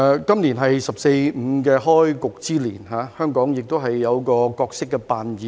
今年是"十四五"規劃的開局之年，香港也有一個角色扮演。